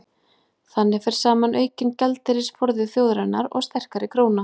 þannig fer saman aukinn gjaldeyrisforði þjóðarinnar og sterkari króna